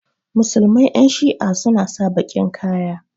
musulmai Yan shi'a suna sa bakin Kaya.